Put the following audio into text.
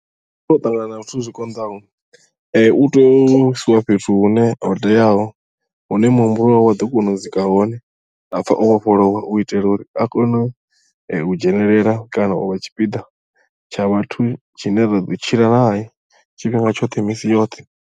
Ndono ṱangana na zwithu zwi konḓaho u to isiwa fhethu hune ho teaho hune muhumbulo wawe wa ḓo kona u swika hone a pfha o vhofholowa u itela uri a kone u dzhenelela kana u vha tshipiḓa tsha vhathu tshine ra ḓo tshila nae tshifhinga tshoṱhe misi yoṱhe.